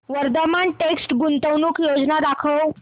Vardhman text गुंतवणूक योजना दाखव